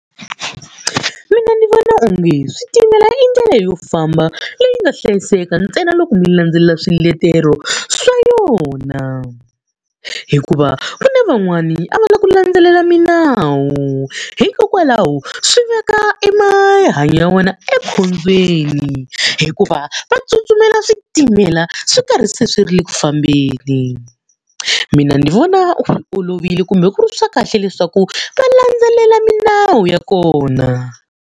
Mina ni vona onge switimela i ndlela yo famba leyi nga hlayiseka ntsena loko mi landzelela swiletelo swa yona. Hikuva ku na van'wani a va lavi ku landzelela milawu, hikokwalaho swi veka emahanyo ya vona ekhombyeni. Hikuva va tsutsumela switimela swi karhi se swi ri ku fambeni. Mina ni vona olovile kumbe ku ri swa kahle leswaku va landzelela milawu ya kona.